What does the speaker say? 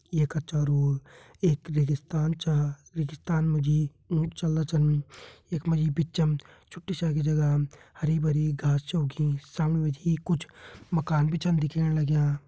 ये कच्चा रोर एक रेगिस्तान चा रेगिस्तान मा जी ऊट चलदा छन यखमा जी बिच्चम छुट्टी छा आगे जगा हरी भरी घास छ उगी सामणी मा जी कुछ मकान भी छन दिखेण लग्या।